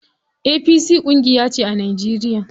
APC ƙungiyace a Najeriya.